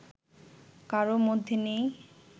কারও মধ্যে নেই